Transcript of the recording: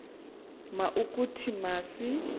ma ukuthi masi